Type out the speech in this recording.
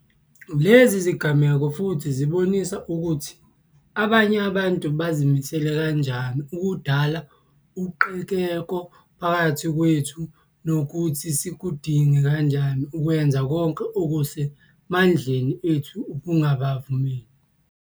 Lezi zigameko futhi zibonisa ukuthi abanye abantu bazimisele kanjani ukudala uqhekeko phakathi kwethu, nokuthi sikudinga kanjani ukwenza konke okuse mandleni ethu ukungabavumeli.